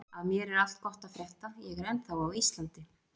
Af mér er allt gott að frétta, ég er ennþá á Íslandi.